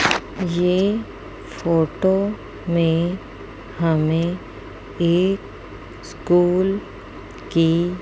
ये फोटो में हमें एक स्कूल की--